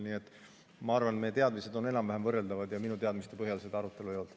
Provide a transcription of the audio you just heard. Nii et ma arvan, et meie teadmised on enam‑vähem võrreldavad, ja minu teadmiste kohaselt seda arutelu ei olnud.